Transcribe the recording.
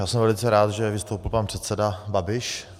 Já jsem velice rád, že vystoupil pan předseda Babiš.